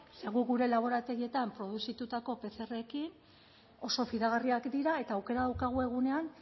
ze gu gure laborategietan produzitutako pcrrekin oso fidagarriak dira eta aukera daukagu egunean